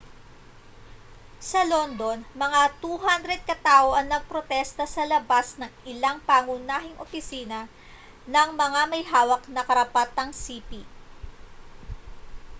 sa london mga 200 katao ang nagprotesta sa labas ng ilang pangunahing opisina ng mga may hawak ng karapatang-sipi